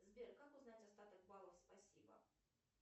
сбер как узнать остаток баллов спасибо